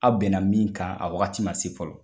Aw bɛnna min kan a wagati ma se fɔlɔ